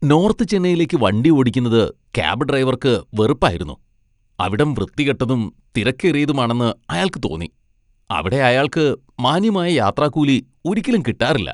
North ചെന്നൈയിലേക്ക് വണ്ടി ഓടിക്കുന്നത് ക്യാബ് ഡ്രൈവർക്ക് വെറുപ്പായിരുന്നു. അവിടം വൃത്തികെട്ടതും തിരക്കേറിയതുമാണെന്ന് അയാൾക്ക് തോന്നി, അവിടെ അയാൾക്ക് മാന്യമായ യാത്രാക്കൂലി ഒരിക്കലും കിട്ടാറില്ല.